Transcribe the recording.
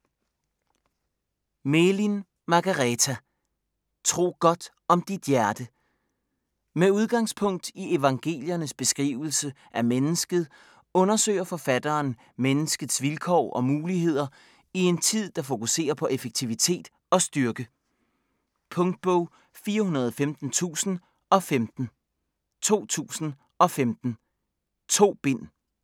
Melin, Margareta: Tro godt om dit hjerte Med udgangspunkt i evangeliernes beskrivelse af mennesket undersøger forfatteren menneskets vilkår og muligheder i en tid, der fokuserer på effektivitet og styrke. Punktbog 415015 2015. 2 bind.